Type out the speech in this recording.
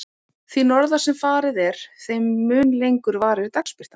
Því norðar sem farið er, þeim mun lengur varir dagsbirtan.